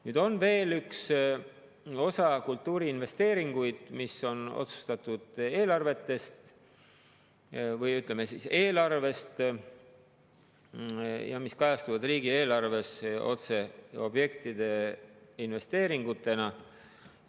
Nüüd on veel üks osa kultuuriinvesteeringuid, mis on otsustatud eelarvest ja mis kajastuvad riigieelarves otse objektide investeeringutena.